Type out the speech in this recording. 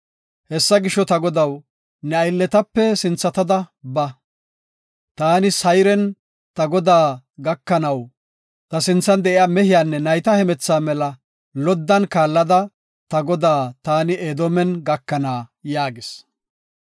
Hessa gisho, ta godaw, ne aylletape sinthatada ba. Taani Sayren ta godaa gakanaw, ta sinthan de7iya mehiyanne nayta hemethaa mela loddan kaallada ta godaa taani Edoomen gakana” yaagis.